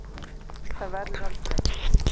Það verður aldrei.